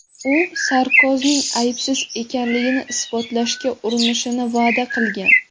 U Sarkozining aybsiz ekanligini isbotlashga urinishini va’da qilgan.